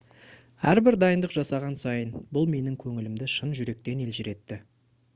әрбір дайындық жасаған сайын бұл менің көңілімді шын жүректен елжіретті